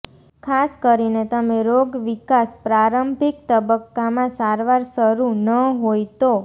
ખાસ કરીને તમે રોગ વિકાસ પ્રારંભિક તબક્કામાં સારવાર શરૂ ન હોય તો